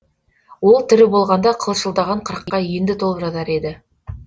ол тірі болғанда қылшылдаған қырыққа енді толып жатар еді